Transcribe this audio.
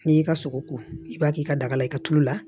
N'i y'i ka sogo ko i b'a k'i ka daga la i ka tulo la